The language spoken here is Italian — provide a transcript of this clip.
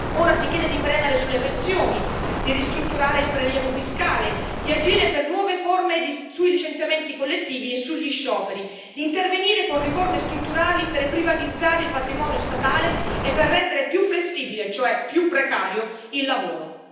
Ora si chiede di premere sulle pensioni, di ristrutturare il prelievo fiscale, di agire per nuove forme sui licenziamenti collettivi e sugli scioperi, di intervenire con riforme strutturali per privatizzare il patrimonio statale e per rendere più flessibile, cioè più precario, il lavoro.